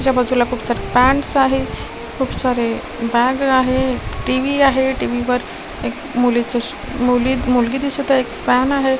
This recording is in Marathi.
च्या बाजूला खूप सारे पँट्स आहे खूप सारे बॅग आहे टी_व्ही आहे टी_व्ही वर एक मुलीच मुली मुलगी दिसत आहे एक फॅन आहे.